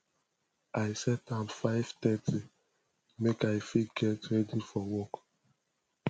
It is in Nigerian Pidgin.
i set am 530 make i fit get ready for work